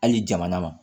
Hali jamana ma